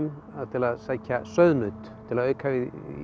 til að sækja sauðnaut til að auka við